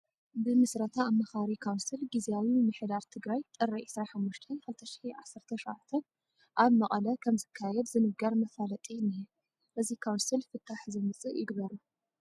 ብምስረታ ኣማኻሪ ካውንስል ጊዜያዊ ምምሕር ትግራይ ጥሪ 25/2017 ዓም ኣብ መቐለ ከምዝካየድ ዝነግር መፋለጢ እኒሀ፡፡ እዚ ካውንስል ፍታሕ ዘምፅእ ይግበሮ፡፡